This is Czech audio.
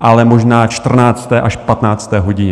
ale možná čtrnácté až patnácté hodině.